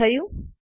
શું થયું